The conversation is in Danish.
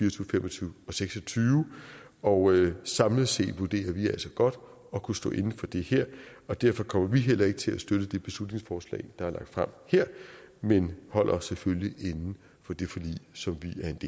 og to tusind og seks og tyve og samlet set vurderer vi altså godt at kunne stå inde for det her og derfor kommer vi heller ikke til at støtte det beslutningsforslag der er lagt frem her men holder os selvfølgelig inden for det forlig som